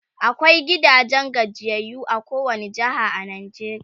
akwai gidajen gajiyayyu a kowani jeha a Najeriya